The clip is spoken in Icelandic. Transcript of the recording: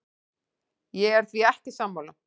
Ég er því ekki sammála.